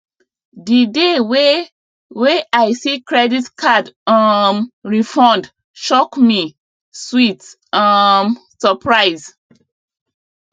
the day wey wey i see credit card um refund shock me sweet um surprise